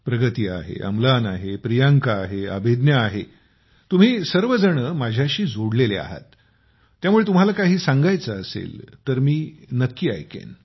प्रगती आहे अम्लान आहे प्रियांका आहे अभिज्ञा आहे तुम्ही सर्वजण माझ्याशी जोडलेले आहात त्यामुळे तुम्हाला काही सांगायचे असेल तर मी नक्की ऐकेन